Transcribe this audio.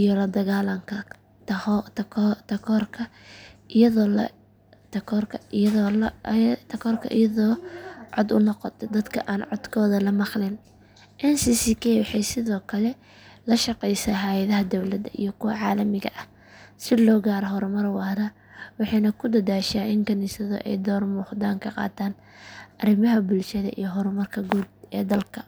iyo la dagaallanka takoorka iyadoo cod u noqota dadka aan codkooda la maqalin ncck waxay sidoo kale la shaqeysaa hay’adaha dowladda iyo kuwa caalamiga ah si loo gaaro horumar waara waxayna ku dadaashaa in kaniisaduhu ay door muuqda ka qaataan arrimaha bulshada iyo horumarka guud ee dalka.